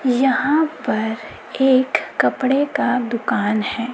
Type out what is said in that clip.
यहां पर एक कपड़े का दुकान है।